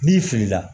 N'i filila